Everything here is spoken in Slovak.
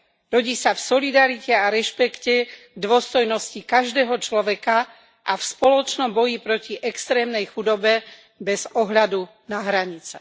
Rodí sa v solidarite a rešpekte k dôstojnosti každého človeka a v spoločnom boji proti extrémnej chudobe bez ohľadu na hranice.